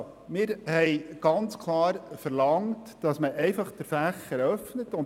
Wir haben klar verlangt, dass der Fächer geöffnet wird.